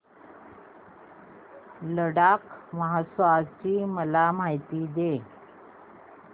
लडाख महोत्सवाची मला माहिती दे